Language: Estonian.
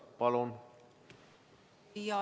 Palun!